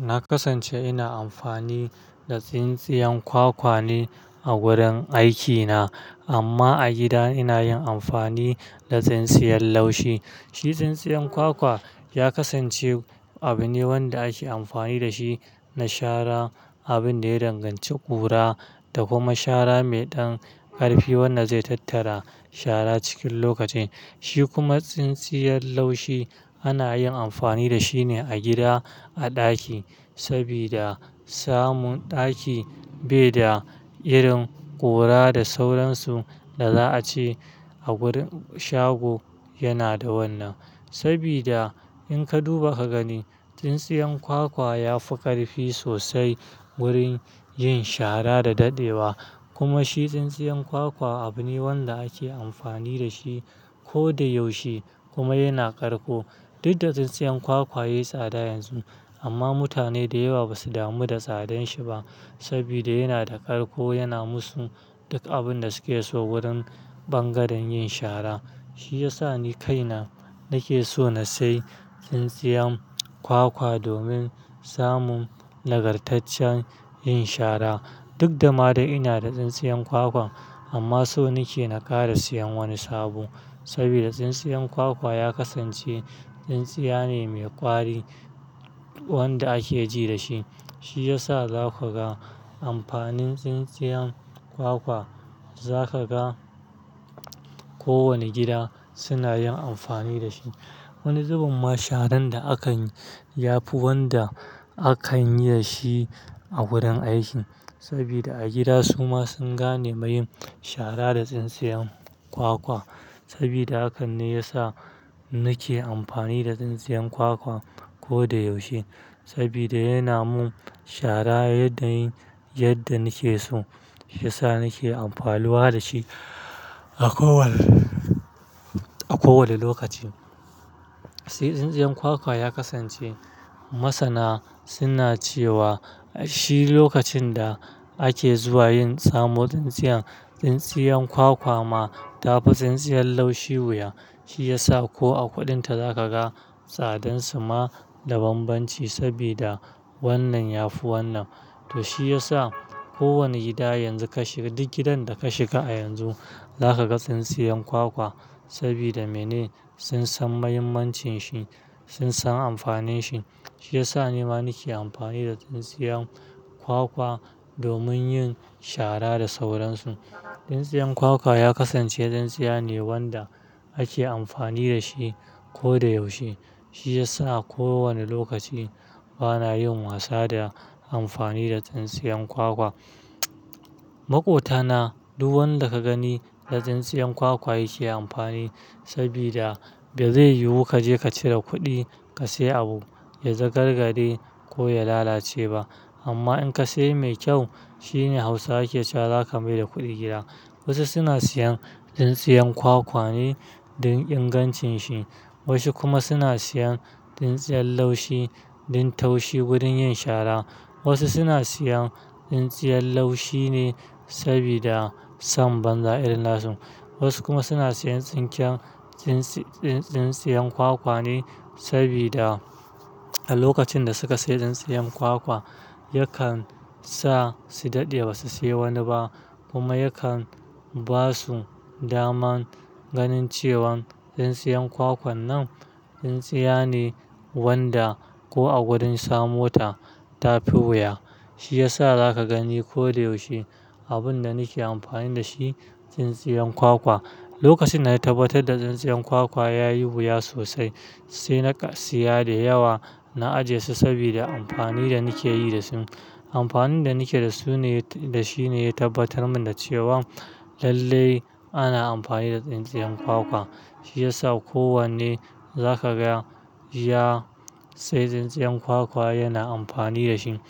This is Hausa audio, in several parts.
Na kasance ina amfani da tsintsiyan kwakwa ne a gurin aikina, amma a gida ina yin amfani da tsintsiyan laushi. Shi tsintsiyan kwakwa ya kasance abu ne wanda ake amfani da shi na shara, abin da ya danganci ƙura da kuma shara mai ɗan ƙarfi wanda zai tattara shara cikin lokaci. Shi kuma tsintsiyar laushi ana yin amfani da shi ne a gida, a ɗaki, sabida samun ɗaki bai da irin ƙura da sauransu da za a ce a gurin shago yana da wannan. Sabida in ka duba ka gani, tsintsiyan kwakwa ya fi ƙarfi sosai gurin yin shara da daɗewa. Kuma shi tsintsiyan kwakwa abu ne wanda ake amfani da shi ko da yaushe kuma yana ƙarko. Duk da tsintsiyan kwakwa yayi tsada yanzu, amma mutane da yawa ba su damu da tsadan shi ba sabida yana da ƙarko, yana musu duk abin da suke so wurin bangaren yin shara. Shi ya sa ni kaina nake so na sayi tsintsiyan kwakwa domin samun nagartaccen yin shara. Duk da ma dai ina da tsintsiyan kwakwa, amma so nake naƙara siyan wani sabo saboda tsintsiyan kwakwa ya kasance tsintsiya ne mai ƙwari wanda ake ji da shi. Shi ya sa za ka ga amfanin tsintsiyan kwakwa, za ka ga kowane gida suna yin amfani da shi. Wani zubin ma sharan da akan yi yafi wanda akan yi da shi a wurin aiki sabida a gida suma sun gane ma yin shara da tsintsiyan kwakwa. Saboda haka ne ya sa nake amfani da tsintsiyan kwakwa ko da yaushe saboda yana mun shara yadda yin yadda nake so. Ya sa nake amfanuwa da shi a kowani lokaci. Tai tsintsiyan kwakwa ya kasance. Masana suna cewa shi lokacin da ake zuwa yin samo tsintsiyan tsintsiyan kwakwa ma ta fi tsintsiyar laushi wuya. Shi ya sa ko a kuɗinta za ka ga tsadansu ma da banbanci saboda wannan ya fi wannan. To shi ya sa kowani gida yanzu ka shiga, duk gidan da ka shiga a yanzu za ka ga tsintsiyan kwakwa sabida mene? Sun san mahimmancin shi, sun san amfanin shi. Shi ya sa ne ma nake amfani da tsintsiyan kwakwa domin yin shara da sauransu. Tsintsiyan kwakwa ya kasance tsintsiya ne wanda ake amfani da shi ko da yaushe. Shi ya sa a kowani lokaci bana yin wasa da amfani da tsintsiyan kwakwa. Maƙota na, duk wanda ka gani da tsintsiyan kwakwa yake amfani saboda bai zai yiwu ka je ka cire kuɗi ka sayi abu, ya zai gargaɗe ko ya lalace ba. Amma in ka sayi mai kyau shine Hausawa ke cewa "za ka mai da kuɗi gida". Wasu suna siyan tsintsiyan kwakwa ne don ingancin shi, wasu kuma suna siyan tsintsiyan laushi don taushi wurin yin shara. Wasu suna siyan tsintsiyan laushi ne saboda sam banza irin nasu. Wasu kuma suna siyan tsinke tsintsiyan kwakwa ne sabida a lokacin da suka sayi tsintsiyan kwakwa yakan sa su daɗe ba su sayi wani ba. Kuma yakan ba su daman ganin cewan tsintsiyan kwakwan nan tsintsiya ne wanda ko a gurin samo ta, ta fi wuya. Shi ya sa za ka gani ko da yaushe abin da nake amfani da shi tsintsiyan kwakwa. Lokacin na tabbatar da tsintsiyan kwakwa ya yi wuya sosai sai na siya da yawa, na ajiye su sabida amfani da nake yi da su. Amfanin da nake da su ne, da shi ne ya tabbatar mun da cewa lalle ana amfani da tsintsiyan kwakwa. Shi ya sa kowanne za ka ga ya sayi tsintsiyan kwakwa yana amfani da shi.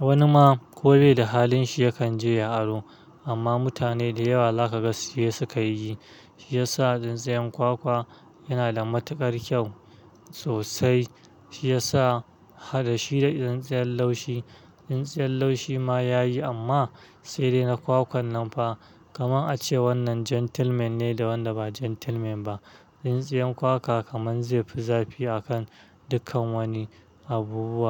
Wani ma ko bai da halin shi yakan je ya aro. Amma mutane da yawa za ka ga siye sukayi yi. Shi ya sa tsintsiyan kwakwa yana da matuƙar kyau sosai. Shi ya sa haɗa shi da tsintsiyan laushi, tsintsiyan laushi ma ya yi amma sai dai na kwakwan nan fa. Kamar ake cewa wannan gentleman ne da wanda ba gentleman ba. Tsintsiyan kwakwa kaman zai fi zafi a kan dukkan wani abu.